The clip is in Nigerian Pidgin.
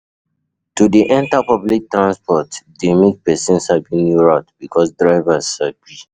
To de enter public transports de make persin sabi new route because drivers sabi